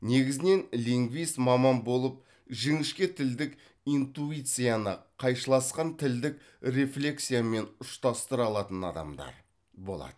негізінен лингвист маман болып жіңішке тілдік интуицияны қайшыласқан тілдік рефлекциямен ұштастыра алатын адамдар болады